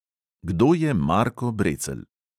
Kdo je marko brecelj?